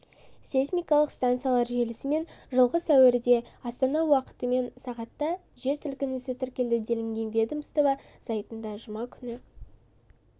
сейсмикалық станциялар желісімен жылғы суірде астана уақытымен сағатта жер сілкінісі тіркелді делінген ведомство сайтында жұма күні